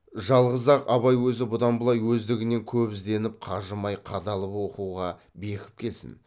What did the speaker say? жалғыз ақ абай өзі бұдан былай өздігінен көп ізденіп қажымай қадалып оқуға бекіп келсін